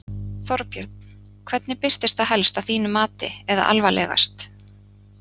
Þorbjörn: Hvernig birtist það helst að þínu mati eða alvarlegast?